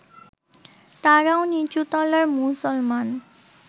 তাঁরাও নিচুতলার মুসলমান